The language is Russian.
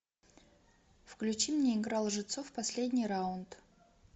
включи мне игра лжецов последний раунд